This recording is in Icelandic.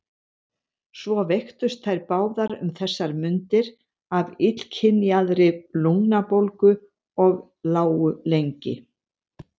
Svo veiktust þær báðar um þessar mundir af illkynjaðri lungnabólgu og lágu lengi.